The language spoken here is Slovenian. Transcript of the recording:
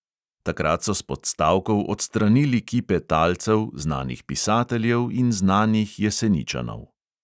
Takrat so s podstavkov odstranili kipe talcev, znanih pisateljev in znanih jeseničanov.